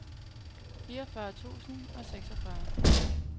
fireogfyrre tusind og seksogfyrre